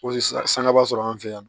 Ko sisan sangaba sɔrɔ an fɛ yan